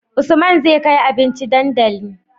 Usman zai kai abinci dandali